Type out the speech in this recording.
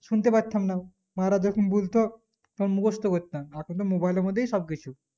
শুনতে পারতাম না মা রা যখন বলতো সব মুখস্ত করতাম এখন তো mobile এর মধ্যে সব কিছু